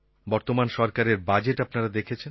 বর্তমান সরকারের বাজেট আপনারা দেখেছেন